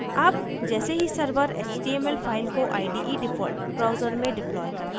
अब जैसे ही server html file को ide default browser में deployed करता है